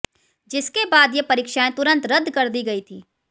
जिसके बाद ये परीक्षाएं तुरंत रद्द कर दी गयी थी